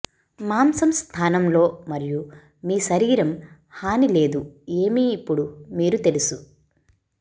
మాంసం స్థానంలో మరియు మీ శరీరం హాని లేదు ఏమి ఇప్పుడు మీరు తెలుసు